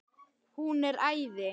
Hún er æði.